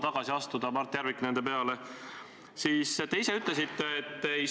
Ma arvan muidugi, et neid näiteid võib tuua ja need on suures osas hinnangulised.